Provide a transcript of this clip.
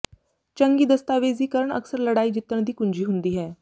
ਚੰਗੀ ਦਸਤਾਵੇਜ਼ੀਕਰਨ ਅਕਸਰ ਲੜਾਈ ਜਿੱਤਣ ਦੀ ਕੁੰਜੀ ਹੁੰਦੀ ਹੈ